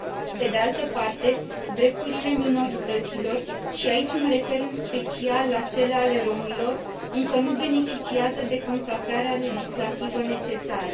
Pe de altă parte, drepturile minorităților și aici mă refer, în special, la cele ale rromilor, încă nu beneficiază de consacrarea legislativă necesară.